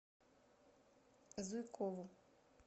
зуйкову